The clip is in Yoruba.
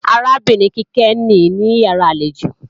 Arábìnrin Kíkẹ́ nìí níyàrá àlejò